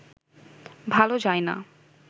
ভালো যায় না